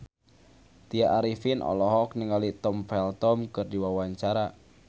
Tya Arifin olohok ningali Tom Felton keur diwawancara